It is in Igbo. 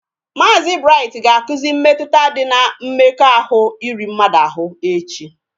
Maazi Bright ga akuzi mmetụta dị na mmekọahụ iri mmadụ ahụ echi